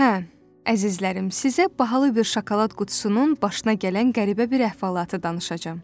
Hə, əzizlərim, sizə bahalı bir şokolad qutusunun başına gələn qəribə bir əhvalatı danışacağam.